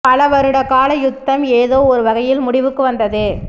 பல வருட கால யுத்தம் ஏதோ ஒரு வகையில் முடிவுக்கு வந்தது